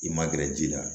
I ma gɛrɛ ji la